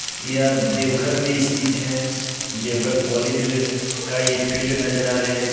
यह देओघर मे स्थित हे देओघर कॉलेज का ये फील्ड नजर आ रहे हे पी--